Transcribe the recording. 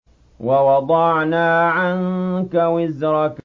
وَوَضَعْنَا عَنكَ وِزْرَكَ